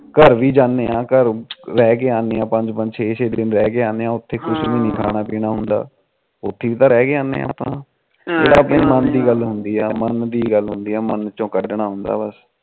ਘਰ ਵੀ ਜਾਂਦੇ ਆ ਘਰ ਪੰਜ ਪੰਜ ਛੇ ਛੇ ਦਿਨ ਰਹਿ ਕੇ ਆਦੇ ਆ ਉਥੇ ਕੁਛ ਵੀ ਨੀ ਖਾਣ ਪੀਣਾ ਹੁੰਦਾ ਉਥੇ ਵੀ ਰਹਿ ਕੇ ਆਦੇ ਆ ਆਪਾ ਇਹ ਤਾ ਮੰਨ ਦੀ ਗੱਲ ਹੁੰਦੀ ਮੰਨ ਦੀ ਗੱਲ਼ ਹੁੰਦੀ